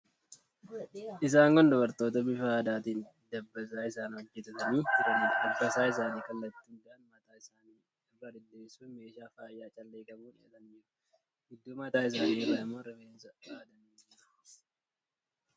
Isaan kun dubartoota bifa aadaatiin dabbasaa isaanii hojjetatanii jiraniidha. Dabbasaa isaanii kallattii hundaan mataa isaanii irra diriirsuun, meeshaa faayaa callee qabuun hidhatanii jiru. Gidduu mataa isaanii irraa immoo rifeensa aadanii jiru.